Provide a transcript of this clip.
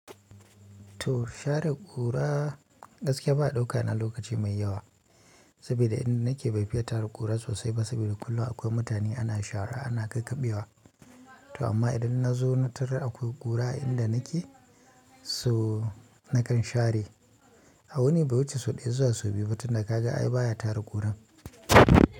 To share kura gaskiya baya ɗauka na lokaci mai yawa saboda inda nake bai fiya tara kura sosai ba saboda kullum akwai mutane ana shara ana kakkaɓewa. To amma idan na zo na tarar akwai kura a inda nake so nakan share. A wuni bai wuce sau ɗaya zuwa sau biyu ba tunda ka ga ai baya tara kuran.